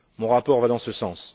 Mon rapport va dans ce sens.